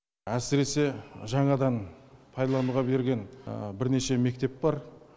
әсіресе жаңадан пайдалануға берген бірнеше мектеп бар